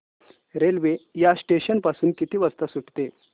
railway या station पासून किती वाजता सुटते